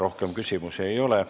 Rohkem küsimusi ei ole.